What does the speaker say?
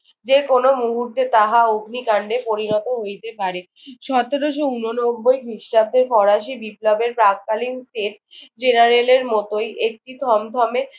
যেকোনো মুহূর্তে তাহা অগ্নিকাণ্ডে পরিণত হইতে পারে। সতেরোশো উননব্বই খ্রিস্টাব্দে ফরাসি বিপ্লবের প্রাক্কালীন state general এর মতোই একটি থমথমে